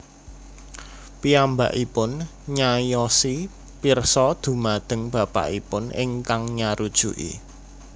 Piyambakipun nyaiosi pirsa dhumateng bapakipun ingkang nyarujuki